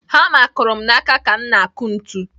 Hama kụrụ m n'aka ka m na-akụ ntu.